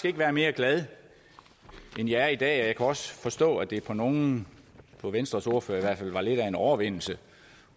ikke være mere glad end jeg er i dag også forstå at det for nogle for venstres ordfører i hvert fald var lidt af en overvindelse